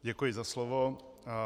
Děkuji za slovo.